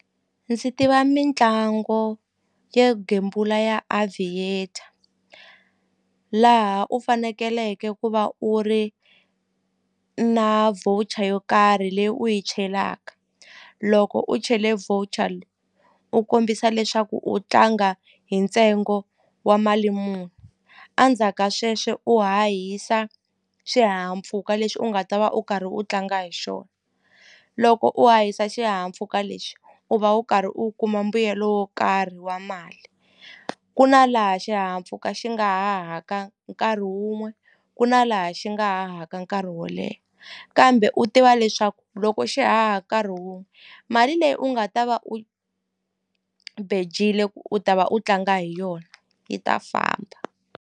Ndzi tiva mitlangu yo gembula ya Aviator laha u fanekeleke ku va u ri na voucher yo karhi leyi u yi chelaka loko u chele voucher u kombisa leswaku u tlanga hi ntsengo wa mali muni a ndzhaka sweswe u hahisa xihahampfhuka lexi u nga ta va u karhi u tlanga hi xona loko u hahisa xihahampfhuka lexi u va u karhi u kuma mbuyelo wo karhi wa mali ku na laha xihahampfhuka xi nga hahaka nkarhi wun'we ku na laha xi nga hahaka nkarhi wo leha kambe u tiva leswaku loko xi haha nkarhi wun'we mali leyi u nga ta va u bejile ku u ta va u tlanga hi yona yi ta famba.